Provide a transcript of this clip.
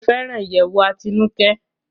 Mo fẹràn iyẹwù Atinuke